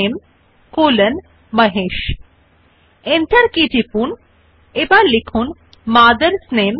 তাই আমরা হিসাবে পর দ্বিতীয় বিবৃতি type so the type the second statement in the resume as father's নামে কলন মহেশ